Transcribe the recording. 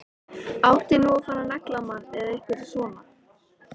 Átti nú að fara að negla mann með einhverju svona?